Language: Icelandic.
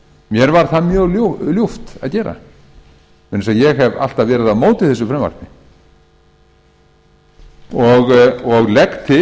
mér var það mjög ljúft að gera vegna þess að ég hef alltaf verið á móti þessu frumvarpi og legg til